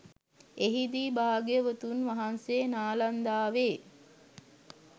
එහිදී භාග්‍යවතුන් වහන්සේ නාලන්දාවෙ